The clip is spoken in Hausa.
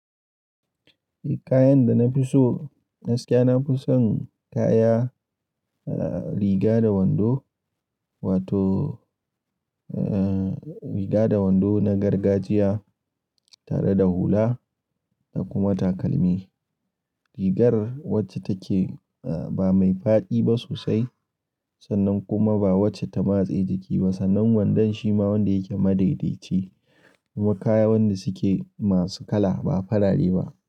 Eh kayan da na fi so, gaskiya nafi son kaya riga da wando wato eh riga da wando na gargajiya tare da hula da kuma takalmi. Rigar wacce take ba mai faɗi ba sosai sannan kuma ba wacce ta matse jiki ba sannan wandon shima wanda yake madaidaici kuma kaya wanda suke masu kala ba farare ba.